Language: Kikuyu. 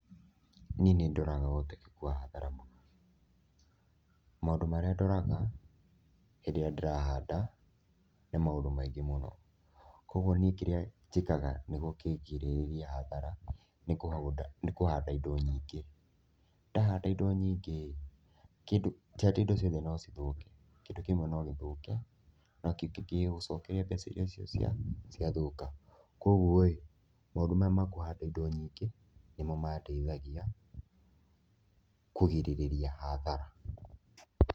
Niĩ nĩ ndoraga ũhotekeku wa hathara na maũndũ marĩa ndoraga hĩndĩ ĩrĩa ndĩrahanda nĩ maũndũ maingĩ mũno. Koguo niĩ kĩrĩa njĩkaga nĩgũo kĩngirĩrĩrie hathara nĩ kũhanda indo nyingĩ, ndahanda indo nyingĩ ĩ, ti atĩ indo ciothe no cithũke, kĩndũ kĩmwe no gĩthũke no kĩu gĩtingĩgũcokeria mbeca iria cio cia ciathũka, koguo ĩ, maũndũ maya ma kũhanda irio nyingĩ nĩmo mandeithagia kũgirĩrĩria hathara.